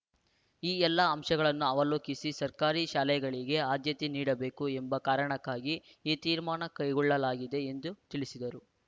ಈ ಎಲ್ಲಾ ಅಂಶಗಳನ್ನು ಅವಲೋಕಿಸಿ ಸರ್ಕಾರಿ ಶಾಲೆಗಳಿಗೆ ಆದ್ಯತೆ ನೀಡಬೇಕು ಎಂಬ ಕಾರಣಕ್ಕಾಗಿ ಈ ತೀರ್ಮಾನ ಕೈಗೊಳ್ಳಲಾಗಿದೆ ಎಂದು ತಿಳಿಸಿದರು